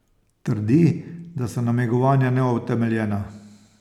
Trdi, da so namigovanja neutemeljena.